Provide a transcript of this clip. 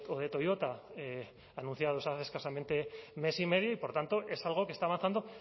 de toyota anunciados hace escasamente mes y medio y por tanto es algo que está avanzando